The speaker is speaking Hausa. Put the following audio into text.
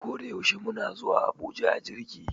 Koda yaushe muna zuwa Abuja a jirgi